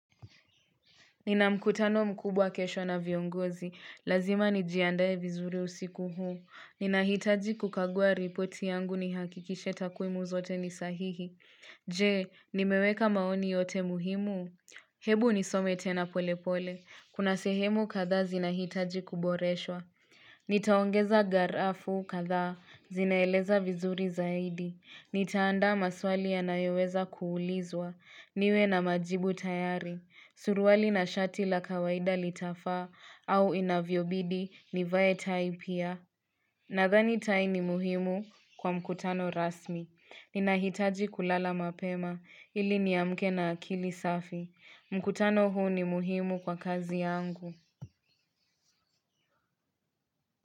Ninamkutano mkubwa kesho na viongozi. Lazima nijiandaye vizuri usiku huu. Ninahitaji kukagua ripoti yangu ni hakikishe takwimu zote ni sahihi. Je, nimeweka maoni yote muhimu? Hebu nisome tena pole pole. Kuna sehemu kadha zinahitaji kuboreswa. Nitaongeza garafu kadha. Zinaeleza vizuri zaidi. Nitaanda maswali ya nayoweza kuulizwa. Niwe na majibu tayari. Suruwali na shati la kawaida litafa au inavyobidi nivaetai pia. Nadhani tai ni muhimu kwa mkutano rasmi. Ninahitaji kulala mapema ili ni amke na akili safi. Mkutano huu ni muhimu kwa kazi yangu.